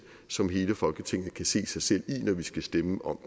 som hele folketinget kan se sig selv i når vi skal stemme om